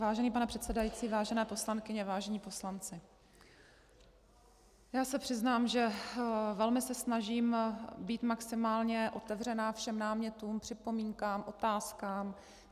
Vážený pane předsedající, vážené poslankyně, vážení poslanci, já se přiznám, že se velmi snažím být maximálně otevřená všem námětům, připomínkám, otázkám.